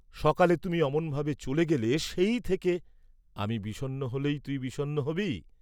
"সকালে তুমি অমন ভাবে চলে গেলে সেই থেকে" "আমি বিষন্ন হলেই তুই বিষন্ন হবি?"